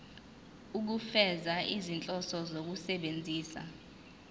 ukufeza izinhloso zokusebenzisa